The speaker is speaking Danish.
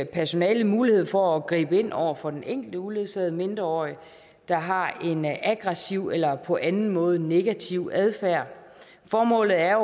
personalet mulighed for at gribe ind over for den enkelte uledsagede mindreårig der har en aggressiv eller på anden måde negativ adfærd formålet er